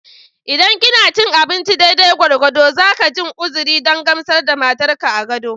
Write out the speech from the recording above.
Idan kina cin abinci daidai gwargwado, zaka jin uzuri don gamsar da matar ka a gado